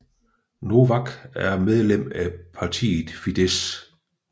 Novák er medlem af partiet Fidesz